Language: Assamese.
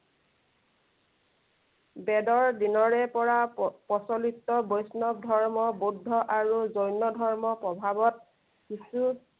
বেদৰ দিনৰে পৰা প্ৰ~ প্ৰচলিত বৈষ্ণৱ ধৰ্ম, বৌদ্ধ আৰু জৈন ধৰ্মৰ প্ৰভাৱত, কিছু